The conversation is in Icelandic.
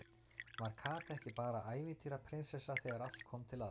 Var Kata ekki bara ævintýra- prinsessa þegar allt kom til alls?